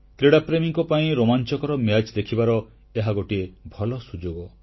କ୍ରୀଡ଼ାପ୍ରେମୀଙ୍କ ପାଇଁ ରୋମାଞ୍ଚକର ମ୍ୟାଚ ଦେଖିବାର ଏହା ଗୋଟିଏ ଭଲ ସୁଯୋଗ